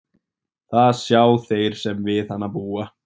Það sjá þeir sem við hana búa.